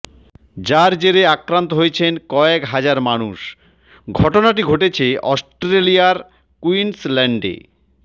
যার জেরে আক্রান্ত হয়েছেন কয়েক হাজার মানুষ ঘটনাটি ঘটেছে অস্ট্রেলিয়ার কুইন্সল্যান্ডে